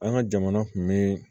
An ka jamana kun be